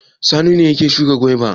Sani ne ya shuka gwaiba?